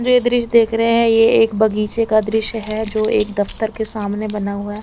ये दरिश देख रहे है ये एक बगीचे का दरिश है जो एक दफ्तर के सामने बना हुआ है।